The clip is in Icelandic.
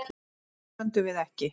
Undir því stöndum við ekki